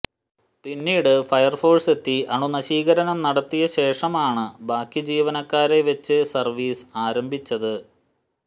പിന്നീട് ഫയര്ഫോഴ്സെത്തി അണുനശീകരണം നടത്തിയ ശേഷമാണ് ബാക്കി ജീവനക്കാരെ വച്ച് സര്വീസ് ആരംഭിച്ചത്